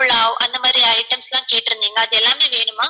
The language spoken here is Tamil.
pulav அந்த மாதிரி items லாம் கேட்ருந்திங்க அது எல்லாமே வேணுமா?